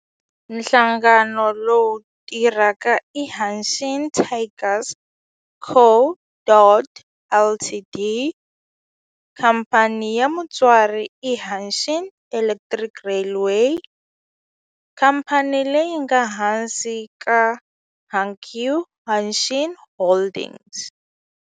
Nhlangano lowu tirhaka i Hanshin Tigers Co., Ltd. Khamphani ya mutswari i Hanshin Electric Railway, khamphani leyi nga ehansi ka Hankyu Hanshin Holdings.